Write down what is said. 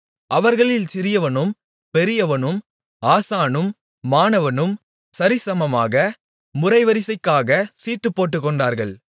அவர்களில் சிறியவனும் பெரியவனும் ஆசானும் மாணவனும் சரிசமமாக முறைவரிசைக்காக சீட்டு போட்டுக்கொண்டார்கள்